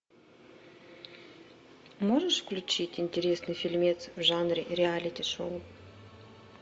можешь включить интересный фильмец в жанре реалити шоу